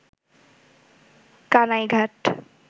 Kanaighat